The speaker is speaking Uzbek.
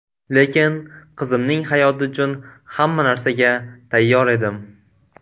Lekin qizimning hayoti uchun hamma narsaga tayyor edim.